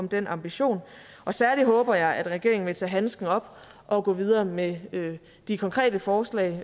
den ambition særlig håber jeg at regeringen vil tage handsken op og gå videre med de konkrete forslag